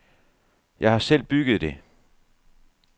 Jeg har selv bygget det.